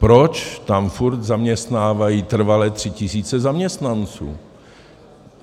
Proč tam furt zaměstnávají trvale tři tisíce zaměstnanců?